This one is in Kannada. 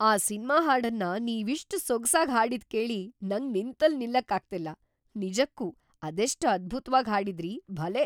ಆ ಸಿನ್ಮಾ ಹಾಡನ್ನ ನೀವಿಷ್ಟ್‌ ಸೊಗ್ಸಾಗ್ ಹಾಡಿದ್‌ ಕೇಳಿ ನಂಗ್‌ ನಿಂತಲ್‌ ನಿಲ್ಲಕ್ಕಾಗ್ತಿಲ್ಲ, ನಿಜಕ್ಕೂ ಅದೆಷ್ಟ್ ಅದ್ಭುತ್ವಾಗ್‌ ಹಾಡಿದ್ರಿ, ಭಲೇ!